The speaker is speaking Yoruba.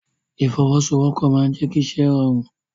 Ìfọwọ́sowọ́pọ̀ máa n jẹ kí iṣẹ rọrun.